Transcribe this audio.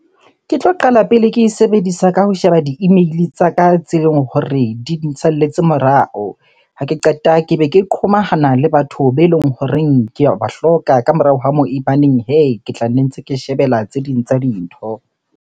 Ke tlo qala pele ke e sebedisa ka ho sheba di-email-e tsa ka tse leng hore di nsalletse morao. Ha ke qeta, ke be ke qhomahana le batho be eleng horeng ke a ba hloka. Ka morao ha moo ebaneng hee, ke tla nne ntse ke shebella tse ding tsa dintho.